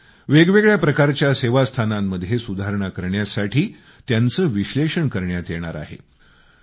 तसेच वेगवेगळ्या प्रकारच्या सेवास्थानांमध्ये सुधारणा करण्यासाठी त्यांचे विश्लेषण करण्यात येणार आहे